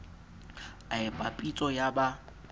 a epa pitso ya ba